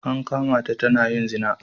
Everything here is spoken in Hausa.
An kama ta tana yin zina.